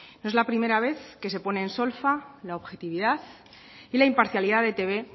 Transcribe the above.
no es la primera vez que se pone en solfa la objetividad y la imparcialidad de etb